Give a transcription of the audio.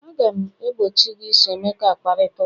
Aga m egbochi gị iso Emma kparịta ụka!